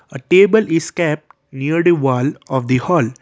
a table is kept near the wall of the hall.